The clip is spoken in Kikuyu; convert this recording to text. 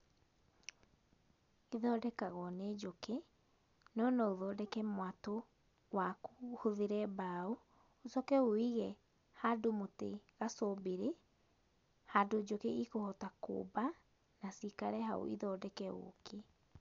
Ĩthondekagwo nĩ njũkĩ no no ũthondeke mwatũ waku, ũhũthĩre mbaũ, ũcoke ũwũige handũ mũtĩ gacumbĩrĩ, handũ njũkĩ ikũhota kũmba na cikare hau ithondeke ũkĩ